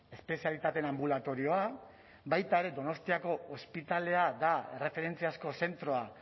espezialitateen anbulatorioa baita ere donostiako ospitalea da erreferentziazko zentroa